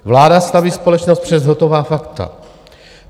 Vláda staví společnost před hotová fakta.